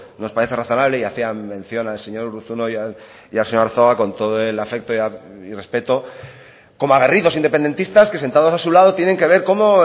nos parece razonable y hacía mención al señor urruzuno y al señor arzuaga con todo el afecto y respeto como aguerridos independentistas que sentados a su lado tienen que ver cómo